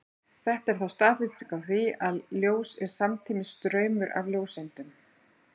Þetta er þá staðfesting á því, að ljós er samtímis straumur af ljóseindum.